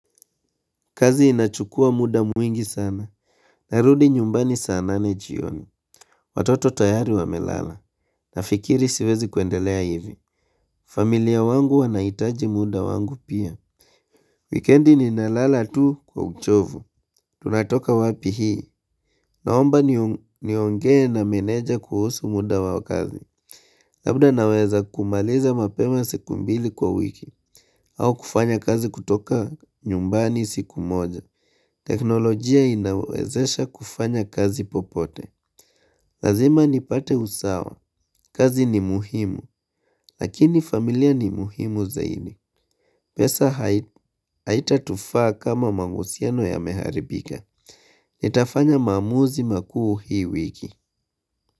Kazi inachukua muda mwingi sana. Narudi nyumbani saa nane jioni. Watoto tayari wamelala. Nafikiri siwezi kuendelea hivi. Familia wangu wanahitaji muda wangu pia. Wikendi ninalala tu kwa uchovu. Tunatoka wapi hii. Naomba niongee na meneja kuhusu muda wa kazi. Labda naweza kumaliza mapema siku mbili kwa wiki. Au kufanya kazi kutoka nyumbani siku moja. Teknolojia inawezesha kufanya kazi popote Lazima nipate usawa kazi ni muhimu Lakini familia ni muhimu zaidi pesa haitatufaa kama mahusiano yameharibika Nitafanya maamuzi makuu hii wiki.